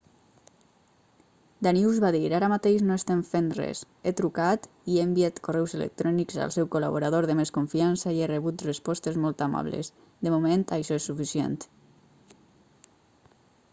danius va dir ara mateix no estem fent res he trucat i enviat correus electrònics al seu col·laborador de més confiança i he rebut respostes molt amables de moment això és suficient